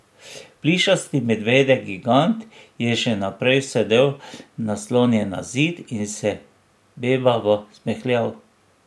Plišasti medvedek gigant je še naprej sedel, naslonjen na zid, in se bebavo smehljal.